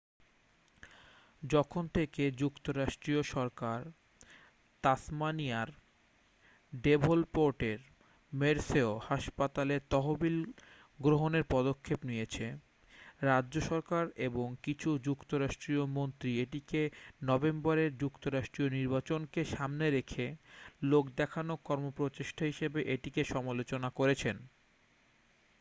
যখন থেকে যুক্তরাষ্ট্রীয় সরকার তাসমানিয়ার ডেভনপোর্টের মের্সেয় হাসপাতালের তহবিল গ্রহণের পদক্ষেপ নিয়েছে রাজ্য সরকার এবং কিছু যুক্তরাষ্ট্রীয় মন্ত্রী এটিকে নভেম্বরের যুক্তরাষ্ট্রীয় নির্বাচনেকে সামনে রেখে লোক দেখানো কর্মপ্রচেষ্টা হিসেবে এটির সমালোচনা করেছেন